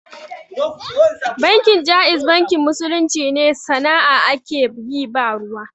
Bankin Jaiz bankin musulunci ne, sana'a ake yi ba ruwa.